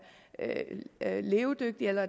levedygtig eller